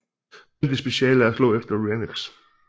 Bentleys speciale er at slå efter Rhynocs